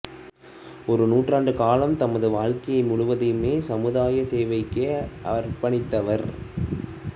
ஒரு நூற்றாண்டு காலம் தமது வாழ்க்கையை முழுவதும் சமுதாய சேவைக்கே அர்ப்பணித்தவர்